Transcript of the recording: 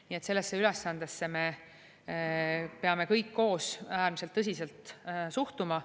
Nii et sellesse ülesandesse me peame kõik koos äärmiselt tõsiselt suhtuma.